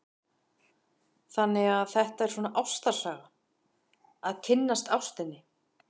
Erla: Þannig að þetta er svona ástarsaga, að kynnast ástinni?